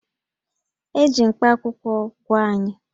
E ji mkpakwụkwọ gwọọ anyị